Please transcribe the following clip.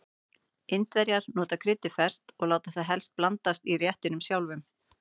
Indverjar nota kryddið ferskt og láta það helst blandast í réttinum sjálfum.